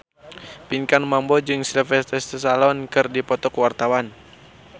Pinkan Mambo jeung Sylvester Stallone keur dipoto ku wartawan